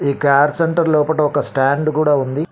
ఈ car centre లోపట ఒక స్టాండ్ కూడా ఉంది.